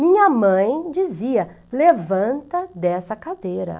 Minha mãe dizia, levanta dessa cadeira.